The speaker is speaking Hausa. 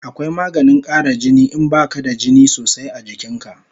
Akwai maganin kara jini in baka da jini sosai a jikin ka